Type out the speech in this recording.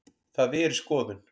Það er í skoðun.